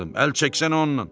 Əl çəksən ondan!